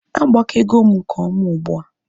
Agbakego m nke ọma ugbua